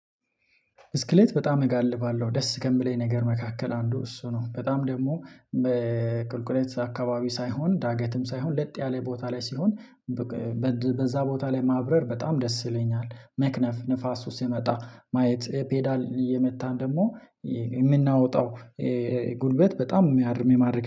ብስክሌት በጣም እጋልባለሁ ደስ ከምለኝ ነገር መካከል አንዱ እሱ ነው በጣም ደግሞ። ቁልቁለት አካባቢ ሳይሆን ዳገትም ሳይሆን ለጥ ያለ ቦታ ላይ ሲሆን በዛ ቦታ ላይ ማብረር በጣም ደስ ይለኛል። መክነፍ ንፋሱ ሲመጣ ማየት ፔዳል እየመታን ደግሞ የምናወጣው ጉልበት በጣም የሚያርም የማድረግ